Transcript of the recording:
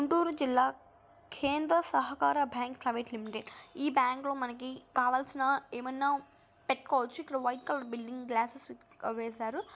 గుంటూరు జిల్లా కేంద్ర సహకార బ్యాంక్ ప్రైవేట్ లిమిటెడ్ . ఈ బ్యాంక్ లో మనకి కావాల్సిన ఏమన్నా పెట్టుకోవచ్చు. ఇక్కడ వైట్ కలర్ బిల్డింగ్ గ్లాస్ ఆ వేసారు.